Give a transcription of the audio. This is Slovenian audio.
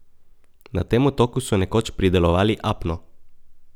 Na tem otoku so nekoč pridelovali apno.